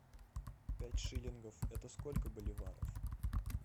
пять шиллингов это сколько боливаров